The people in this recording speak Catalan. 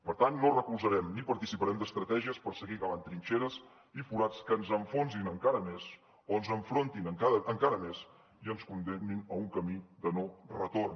per tant no recolzarem ni participarem d’estratègies per seguir cavant trinxeres i forats que ens enfonsin encara més o ens enfrontin encara més i ens condemnin a un camí de no retorn